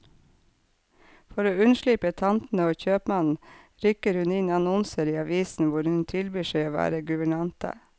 For å unnslippe tantene og kjøpmannen, rykker hun inn annonser i avisen hvor hun tilbyr seg å være guvernante.